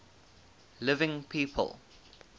living people